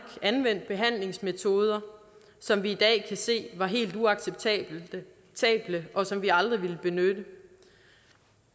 anvendt behandlingsmetoder som vi i dag kan se var helt uacceptable og som vi aldrig ville benytte